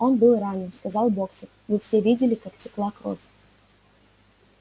он был ранен сказал боксёр мы все видели как текла кровь